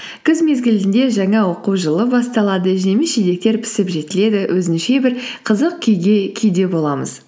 күз мезгілінде жаңа оқу жылы басталады жеміс жидектер пісіп жетіледі өзінше бір қызық күйде боламыз